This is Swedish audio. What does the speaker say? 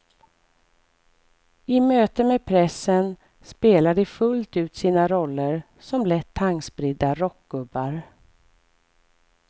I möte med pressen spelar de fullt ut sina roller som lätt tankspridda rockgubbar.